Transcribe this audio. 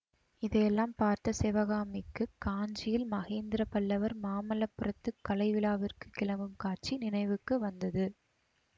இதையெல்லாம் பார்த்த சிவகாமிக்குக் காஞ்சியில் மகேந்திர பல்லவர் மாமல்லபுரத்துக் கலை விழாவிற்கு கிளம்பும் காட்சி நினைவுக்கு வந்தது